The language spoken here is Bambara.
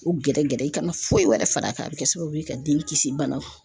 U gɛrɛ gɛrɛ i kana foyi wɛrɛ far'a kan a bɛ kɛ sababu ye ka den kisi banaw ma.